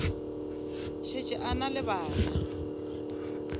šetše a na le bana